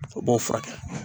O b'o furakɛ.